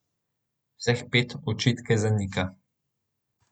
Vseh pet očitke zanika.